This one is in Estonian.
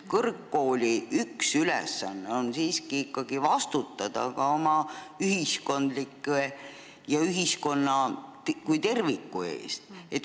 Kõrgkooli üks ülesanne on ka ikkagi vastutada ühiskonna kui terviku eest.